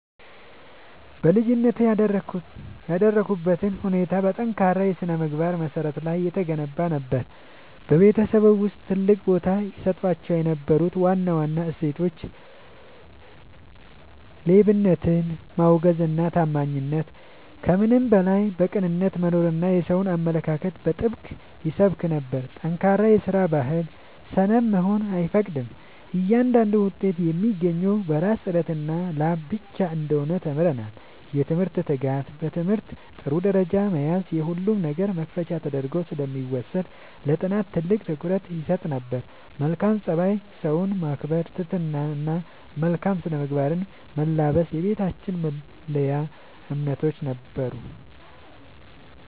በልጅነቴ ያደግኩበት ሁኔታ በጠንካራ የሥነ-ምግባር መሠረት ላይ የተገነባ ነበር። በቤተሰባችን ውስጥ ትልቅ ቦታ ይሰጣቸው የነበሩ ዋና ዋና እሴቶች፦ ሌብነትን ማውገዝና ታማኝነት፦ ከምንም በላይ በቅንነት መኖርና የሰውን አለመንካት በጥብቅ ይሰበክ ነበር። ጠንካራ የስራ ባህል፦ ሰነፍ መሆን አይፈቀድም፤ እያንዳንዱ ውጤት የሚገኘው በራስ ጥረትና ላብ ብቻ እንደሆነ ተምረናል። የትምህርት ትጋት፦ በትምህርት ጥሩ ደረጃ መያዝ የሁሉም ነገር መክፈቻ ተደርጎ ስለሚወሰድ ለጥናት ትልቅ ትኩረት ይሰጥ ነበር። መልካም ፀባይ፦ ሰውን ማክበር፣ ትህትና እና መልካም ስነ-ምግባርን መላበስ የቤታችን መለያ እምነቶች ነበሩ።